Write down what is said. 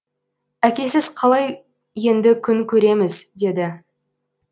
әкесіз қалай енді күн көреміз деді